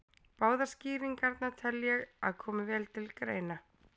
Báðar skýringarnar tel ég að komi vel til greina.